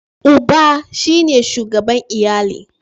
Uba shi ne shugaban iyali.